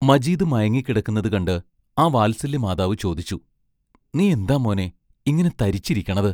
മജീദ് മയങ്ങിക്കിടക്കുന്നതു കണ്ട് ആ വാത്സല്യമാതാവു ചോദിച്ചു: നീ എന്താ മോനേ, ഇങ്ങനെ തരിച്ചിരിക്കണത്?